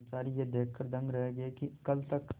कर्मचारी यह देखकर दंग रह गए कि कल तक